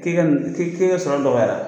K'i ka nin k'i k'i ka sɔrɔ dɔgɔyara la.